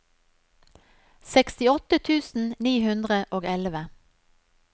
sekstiåtte tusen ni hundre og elleve